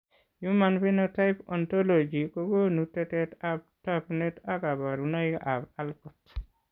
Human Phenotype ontology kogonu tetet ab tagunet ak kabarunaik ab Alport